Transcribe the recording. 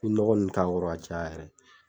I nɔgɔ nn k'a kɔrɔ k'a caya yɛrɛ